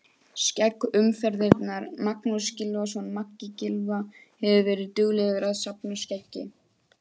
Skegg umferðarinnar: Magnús Gylfason Maggi Gylfa hefur verið duglegur að safna skeggi.